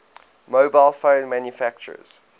mobile phone manufacturers